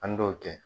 An b'o kɛ